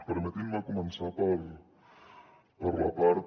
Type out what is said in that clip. permetin me començar per la part